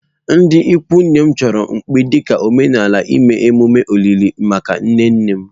Ndị ikwu nne m chọrọ mkpi dị ka omenala ime emume olili maka nne nne m.